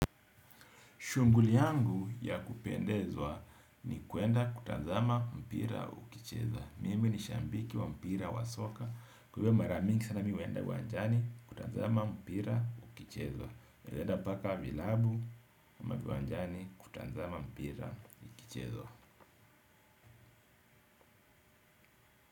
Shughuli yangu ya kupendezwa ni kwenda kutazama mpira ukichezwa. Mimi ni shabiki wa mpira wa soka. Kwa hivyo mara mingi sana mi huenda uwanjani kutazama mpira hukichezwa. Naenda mpaka vilabu ama viwanjani kutazama mpira hukichezwa.